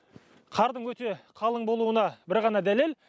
қардың өте қалың болуына бір ғана дәлел